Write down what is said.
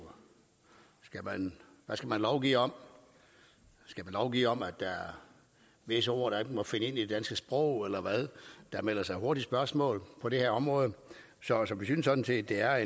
hvad skal man lovgive om skal man lovgive om at der er visse ord der ikke må finde ind i det danske sprog eller hvad der melder sig hurtigt spørgsmål på det her område så så vi synes sådan set det er